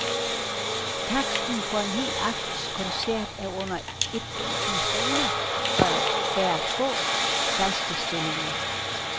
Taksten for en hel aftens koncert er under et tusind kroner, og der er få, faste stillinger.